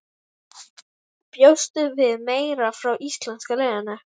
Bjóstu við meira frá íslenska liðinu?